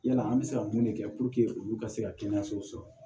Yala an bɛ se ka mun de kɛ olu ka se ka kɛnɛyasow sɔrɔ